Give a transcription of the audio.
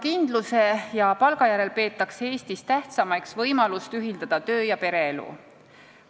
Kindla töökoha ja palga järel peetakse Eestis tähtsaimaks võimalust töö- ja pereelu ühitada.